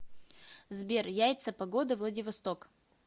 сбер яйца погода владивосток